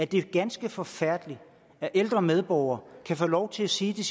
det er ganske forfærdeligt at ældre medborgere kan få lov til at sige til